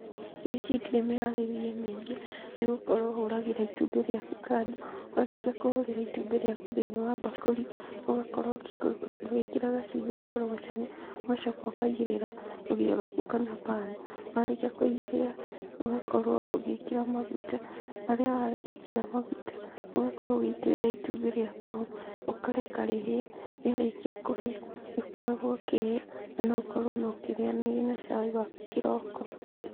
Irio ici citirĩ mĩharĩrie mĩingĩ, nĩgũkorwo ũhũragĩra itumbĩ rĩaku kando, warĩkia kũhũrĩra itumbĩ rĩaku thĩiniĩ wa bakũri, ũgakorwo ũgĩkĩra gacumbĩ, ũgakorogocania, ũgacoka ũkaigĩrĩra rũgĩyo rwaku kana pan, warikia kũigĩrĩra, ũgakorwo ũgĩkĩra maguta, harĩa wekĩra magũta ũgakorwo ũgĩitĩrĩra itumbĩ rĩaku, ũkareka rĩhĩe, rĩarĩkia kũhĩa, nĩũkoragwo ũkĩrĩa na no ũkorwo ũkĩrĩnyanĩria na cai waku kĩroko.